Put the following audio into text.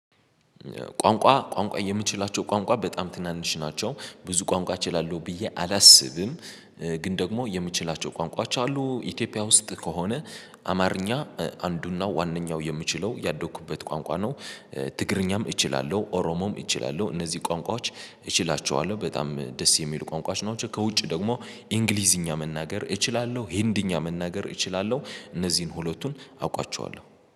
ቋንቋ ቋንቋ የምችላቸው ቋንቋ በጣም ትናንሽ ናቸው። ብዙ ቋንቋ እችላለሁ ብዬ አላስብም። ግን ደግሞ የምችላቸው ቋንቋቸው አሉ። ኢትዮጵያ ውስጥ ከሆነ አማርኛ አንዱና ዋናው የምችለው ያደኩበት ቋንቋ ነው። ትግርኛም እችላለሁ፤ ኦሮሞም እችላለሁ፤ እነዚህ ቋንቋዎች እችላቸዋለሁ። በጣም ደስ የሚሉ ቋንቋዎች ናቸው። ከውጭ ደግሞ እንግሊዝኛ መናገር እችላለሁ። ህንድኛ መናገር እችላለሁ። እነዚህን ሁለቱን አውቃቸዋለሁ።